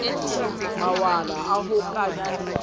mawala a ho ka di